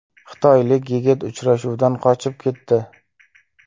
Xitoylik yigit uchrashuvdan qochib ketdi.